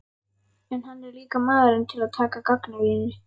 En hann er líka maður til að taka gagnrýni.